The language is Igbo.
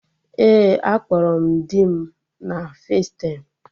Ee, akpọrọ m dị m.na festaịm